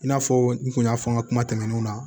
I n'a fɔ n kun y'a fɔ n ka kuma tɛmɛnenw na